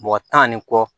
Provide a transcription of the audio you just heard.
Mɔgɔ tan ni kɔ